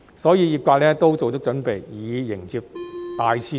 因此，業界都做足準備，以迎接大市場的來臨。